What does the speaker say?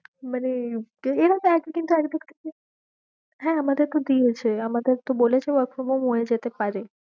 মানে হ্যাঁ আমাদের তো দিয়েছে, আমাদের তো বলেছে work from home হয়ে যেতে পারে।